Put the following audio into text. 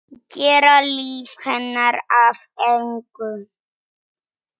Gera líf hennar að engu.